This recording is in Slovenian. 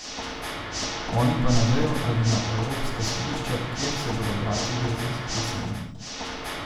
Oni pa na vejo ali na evropska sodišča, kjer se bodo bratili z izbrisanimi.